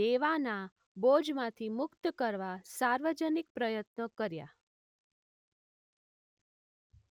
દેવાના બોજમાંથી મૂક્ત કરવા સાર્વજનિક પ્રયત્નો કર્યા.